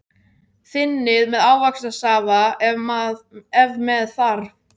Þynnið með ávaxtasafa ef með þarf.